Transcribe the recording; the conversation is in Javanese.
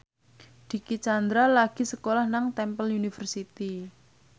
Dicky Chandra lagi sekolah nang Temple University